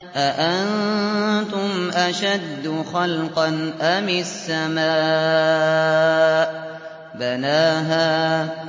أَأَنتُمْ أَشَدُّ خَلْقًا أَمِ السَّمَاءُ ۚ بَنَاهَا